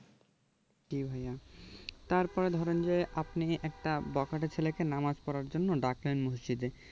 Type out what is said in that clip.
জি ভাইয়া তারপর ধরেন যে আপনি একটা বখাটে ছেলেকে নামাজ পড়ার জন্য ডাকলেন মসজিদে